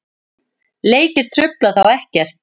Leikir trufla þá ekkert.